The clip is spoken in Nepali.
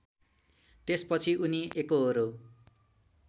त्यसपछि उनी एकोहोरो